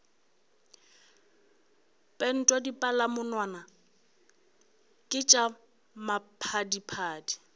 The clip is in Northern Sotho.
pentwa dipalamonwana ke tša maphadiphadi